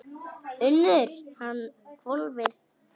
UNNUR: Hann hvolfir úr skónum.